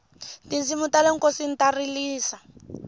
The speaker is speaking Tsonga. tinsimu tale nkosini ta rilisa